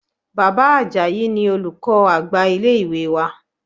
Bàbá Ajayi ni olùkọ́ àgbà ilé ìwé wa.